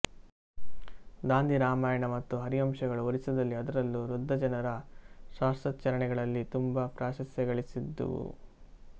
ದಾಂದಿ ರಾಮಾಯಣ ಮತ್ತು ಹರಿವಂಶಗಳು ಒರಿಸ್ಸದಲ್ಲಿ ಅದರಲ್ಲೂ ವೃದ್ಧ ಜನರ ಶಾಸ್ತ್ರಾಚರಣೆಗಳಲ್ಲಿ ತುಂಬ ಪ್ರಾಶಸ್ತ್ಯಗಳಿಸಿದುವು